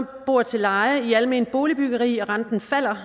bor til leje i alment boligbyggeri og renten falder